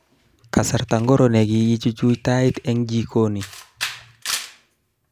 Kasarta ingiro nekichuch tait eng jikoni?